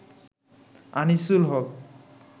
Anisul Haque